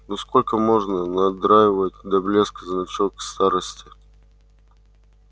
ну сколько можно надраивать до блеска значок старосты